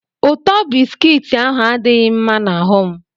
ụtọ bisikiiti ahụ adighi mma na ahum